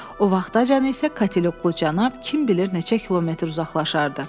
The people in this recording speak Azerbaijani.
O vaxtacan isə Katil Oğlu Cənab, kim bilir neçə kilometr uzaqlaşardı.